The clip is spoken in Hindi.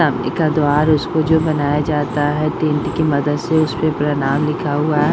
एका द्वार उसको जो बनाया जाता है टेंट की मदद से उसपे प्रणाम लिखा हुआ है।